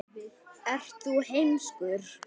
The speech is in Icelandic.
Gildir svo sem einu.